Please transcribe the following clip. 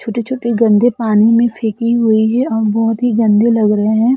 छोटे-छोटे गंदे पानी में फेकी हुई है और बहोत ही गंदे लग रहे है।